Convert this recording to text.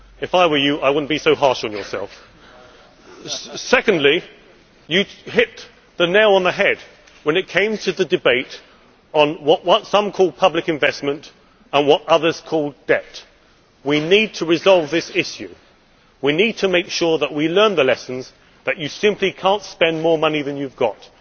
If I were you, I would not be so harsh on yourself. Secondly, you hit the nail on the head when it came to the debate on what some call public investment and what others call debt. We need to resolve this issue. We need to make sure that we learn the lesson that you simply cannot spend more money than you have got.